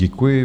Děkuji.